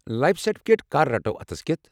Life certificate كر رٹو اتھس کٮ۪تھ؟